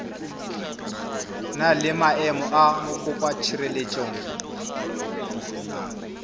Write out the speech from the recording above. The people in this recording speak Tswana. na le maemo a mokopatshireletso